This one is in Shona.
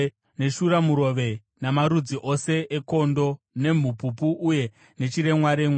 neshuramurove namarudzi ose ekondo, nemhupupu uye nechiremwaremwa.